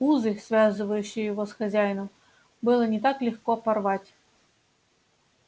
узы связывающие его с хозяином было не так легко порвать